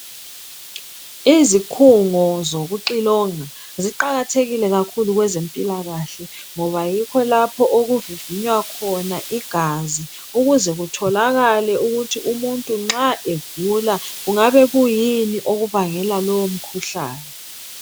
Izikhungo zokucilonga ziqakathekile kakhulu okwezempilakahle ngoba yikho lapho okuvivinywa khona igazi ukuze kuthokakale ukuthi umuntu nxa egula kungabe kuyini okubangela lowomkhuhlane.